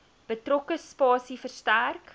betrokke spasie verstrek